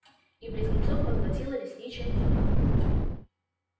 и близнецов поглотила лесничая тьма